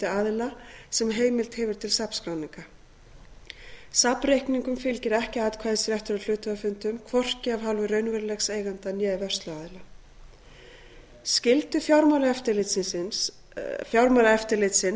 aðila sem heimild hefur til safnskráninga safnreikningum fylgir ekki atkvæðisréttur á hluthafafundum hvorki af hálfu raunverulegs eiganda né vörsluaðila skyldu fjármálaeftirlitsins